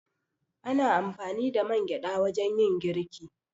Ana amfani da mangyaɗa wajen yin girki.